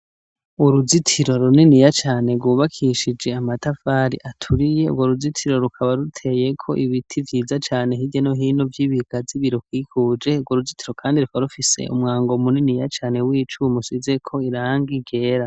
Uruzitiro runiniya cane rwubakishije amatafari aturiye ,urwo ruzitiro rukaba ruteyeko ibiti vyiza cane hirya no hino vy'ibigazi birukikuje, urwo ruzitiro kandi rukaba rufise umwango muniniya cane w'icuma usizeko irangi ryera.